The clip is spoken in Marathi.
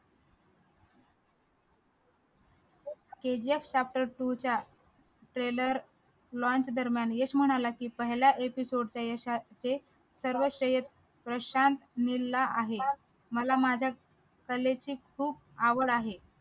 kgf chapter two च्या trailer launch दरम्यान यश म्हणाला की पहिला episode च्या यशाचे सर्व श्रेय प्रशांत नील ला आहे मला माझ्या कलेची खूप आवड आहे